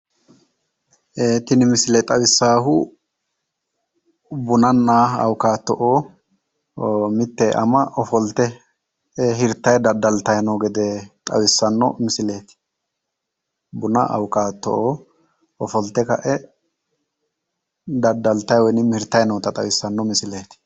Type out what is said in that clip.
Tini misile xawissaahu bunanna awukaato'oo mitte ama ofolte hirtayi daddaltayi no gede xawissano misileeti buna awukaato'oo ofolte ka'e daddaltayi woyinimmi hirtayi noota xawissanno misileeti